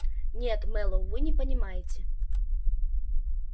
нет мэллоу вы не понимаете